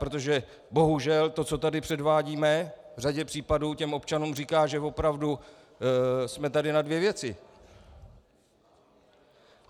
Protože bohužel to, co tady předvádíme, v řadě případů těm občanům říká, že opravdu jsme tady na dvě věci.